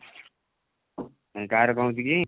କାଇଁ କାହାର କଣ ହଉଛି କି?